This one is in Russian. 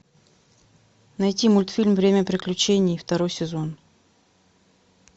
найти мультфильм время приключений второй сезон